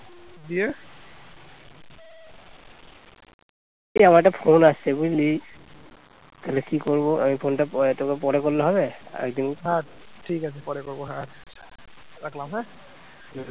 ঠিক আছে পরে করব হ্যাঁ, রাখলাম হ্যাঁ